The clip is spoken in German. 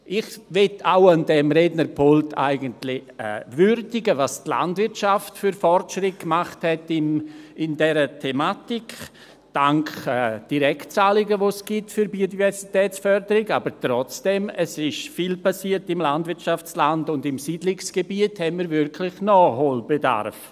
Ich möchte an diesem Rednerpult eigentlich auch die Fortschritte würdigen, welche die Landwirtschaft in dieser Thematik für gemacht hat – dank Direktzahlungen, die es für die Biodiversitätsförderung gibt, aber trotzdem: Es ist viel passiert im Landwirtschaftsland, und im Siedlungsgebiet haben wir wirklich Nachholbedarf.